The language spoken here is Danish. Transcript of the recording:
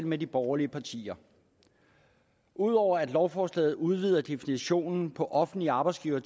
med de borgerlige partier ud over at lovforslaget udvider definitionen på offentlige arbejdsgivere